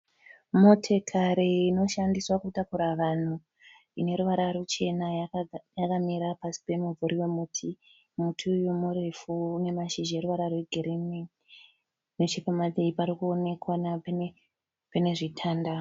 Motikari inoshandiswa kutakura vanhu ineruvara ruchena yakamira pasi pemumvuri wemuti. Muti uyu murefu unemashizha aneruvara rwegirinhi. Nechekumativi parikuoneka pane zvitanda.